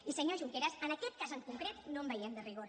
i senyor junqueras en aquest cas en concret no en veiem de rigor